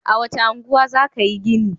A wace unguwa za ka yi gini?